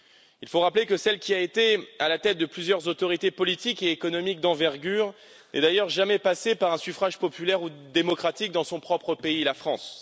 Il faut rappeler que celle qui a été à la tête de plusieurs autorités politiques et économiques d'envergure n'est jamais passée par un suffrage populaire ou démocratique dans son propre pays, la France.